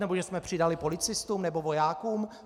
Nebo že jsme přidali policistům nebo vojákům?